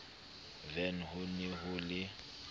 vene ho ne ho le